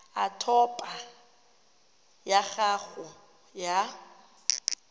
a topo ya gago ya